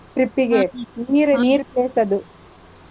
Trip ಗೆ, ನೀರ್ ನೀರ್ place ಅದು.